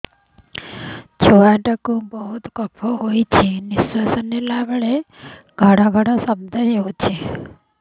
ଛୁଆ ଟା କୁ ବହୁତ କଫ ହୋଇଛି ନିଶ୍ୱାସ ନେଲା ବେଳେ ଘଡ ଘଡ ଶବ୍ଦ ହଉଛି